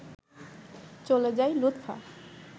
চলে যায় লুৎফা